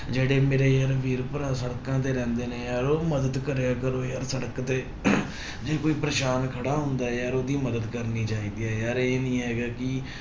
ਜਿਹੜੇ ਮੇਰੇ ਯਾਰ ਵੀਰ ਭਰਾ ਸੜਕਾਂ ਤੇ ਰਹਿੰਦੇ ਨੇ ਯਾਰ ਉਹ ਮਦਦ ਕਰਿਆ ਕਰੋ ਯਾਰ ਸੜਕ ਤੇ ਜੇ ਕੋਈ ਪਰੇਸਾਨ ਖੜਾ ਹੁੰਦਾ ਹੈ ਯਾਰ ਉਹਦੀ ਮਦਦ ਕਰਨੀ ਚਾਹੀਦੀ ਹੈ ਯਾਰ ਇਹ ਨੀ ਹੈਗਾ ਕਿ